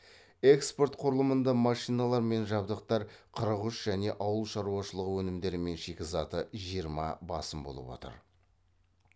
экспорт құрылымында машиналар мен жабдықтар қырық үш және ауыл шаруашылығы өнімдері мен шикізаты жиырма басым болып отыр